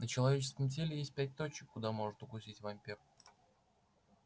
на человеческом теле есть пять точек куда может укусить вампир